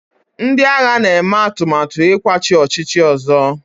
ndị agha na-eme atụmatụ ịkwatu ọchịchị ọzọ